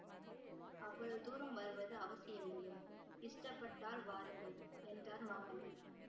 அவ்வளவு தூரம் வருவது அவசியமில்லை இஷ்டப்பட்டால் வாருங்கள் என்றார் மாமல்லர்